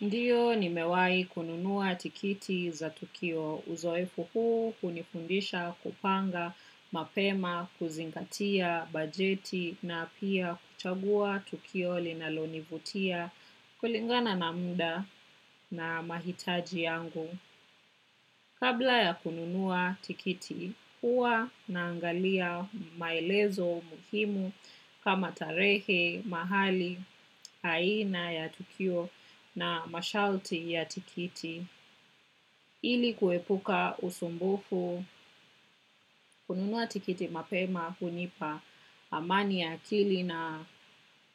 Ndiyo nimewai kununua tikiti za tukio uzoefu huu hunifundisha kupanga mapema kuzingatia bajeti na pia kuchagua tukio linalonivutia kulingana na muda na mahitaji yangu. Kabla ya kununua tikiti, huwa naangalia maelezo muhimu kama tarehe, mahali, aina ya tukio na masharti ya tikiti. Ili kuepuka usumbufu, kununua tikiti mapema, hunipa, amani ya akili na